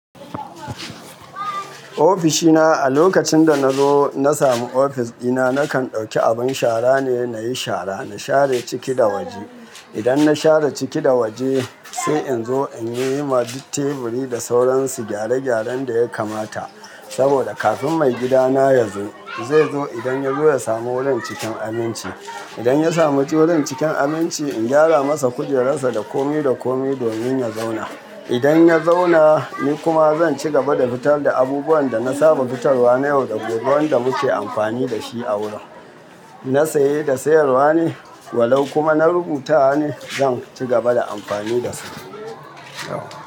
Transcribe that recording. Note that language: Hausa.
Ofishi na a lokacin da na zo na sami ofis ɗina, nakan ɗauki abin shara ne nayi shara, na share ciki da waje. Idan na share ciki da waje sai in zo in yi ma duk teburi da sauran su gyare-gyaren da ya kamata saboda kafin maigidana yazo. Zai zo idan ya zo ya samu wurin cikin aminci. Idan ya samu wurin cikin aminci, in gyara masa kujerar sa da kome da kome domin ya zauna. Idan ya zauna ni kuma zan ci gaba da fitar da abubuwan da na saba fitarwa na yau da gobe, wanda muke amfani da shi a wurin. Na saye da sayarwa ne walau kuma na rubutawa ne zan ci gaba da amfani da su, yauwa.